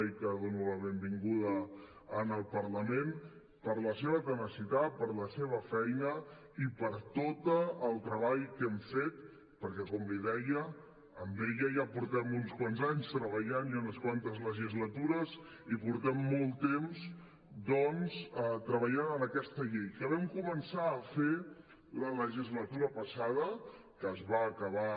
i a qui dono la benvinguda al parlament per la seva tenacitat per la seva feina i per tot el treball que hem fet perquè com li deia amb ella ja portem uns quants anys treballant i unes quantes legislatures i portem molt temps doncs treballant en aquesta llei que vam començar a fer la legislatura passada que es va acabar